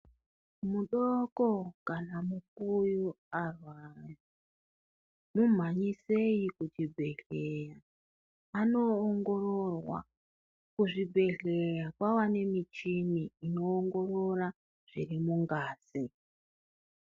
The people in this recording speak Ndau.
Mudoko kana mukuyu arwara mumhanyiseyi kuchibhedhleya anoongororwa. Kuzvibhedhleya kwava nemichini inoongorora zviri mungazi.